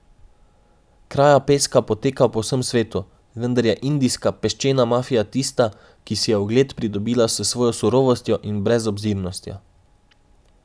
Kraja peska poteka po vsem svetu, vendar je indijska peščena mafija tista, ki si je ugled pridobila s svojo surovostjo in brezobzirnostjo.